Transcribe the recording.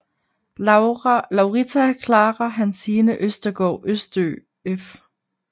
Laurita Clara Hansine Østergaard Østø f